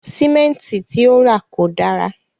Símẹ̀ntì ti o ra kò dára.